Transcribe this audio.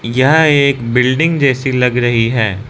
यह एक बिल्डिंग जैसी लग रही है।